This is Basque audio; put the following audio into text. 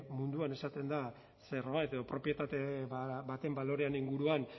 munduan esaten da zerbait edo propietate baten baloreen inguruan